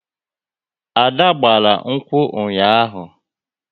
Ada gbara nkwu ụnyaahụ